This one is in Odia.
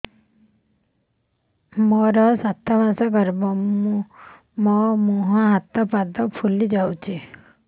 ମୋ ସାତ ମାସର ଗର୍ଭ ମୋ ମୁହଁ ହାତ ପାଦ ଫୁଲି ଯାଉଛି